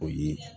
O ye